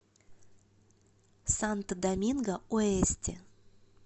санто доминго оэсте